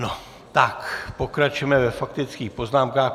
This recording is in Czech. No, tak pokračujeme ve faktických poznámkách.